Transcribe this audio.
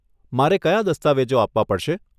મારે કયા દસ્તાવેજો આપવા પડશે?